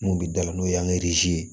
Mun bɛ da la n'o ye ye